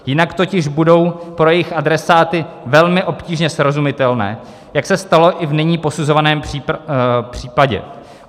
Jinak totiž budou pro jejich adresáty velmi obtížně srozumitelné, jak se stalo i v nyní posuzovaném případě.